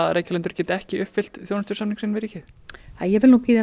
að Reykjalundur geti ekki uppfyllt þjónustusamning sinn við ríkið ég vil nú bíða